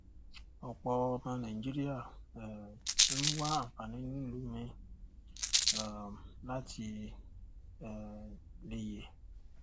ọpọ ọmọ nàìjíríà um ń wá àǹfààní nílùú míì um láti um lè yè